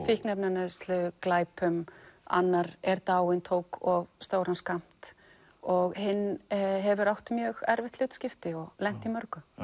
fíkniefnaneyslu og glæpum annar er dáinn tók of stóran skammt og hinn hefur átt mjög erfitt hlutskipti og lent í mörgu